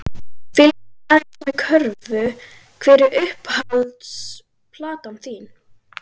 Fylgist aðeins með körfu Hver er uppáhalds platan þín?